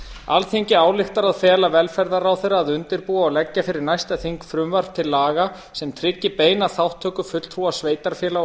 alþingi ályktar að fela velferðarráðherra að undirbúa og leggja fyrir næsta þing frumvarp til laga sem tryggi beina þátttöku fulltrúa sveitarfélaga og